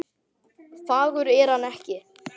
Fagur er hann ekki.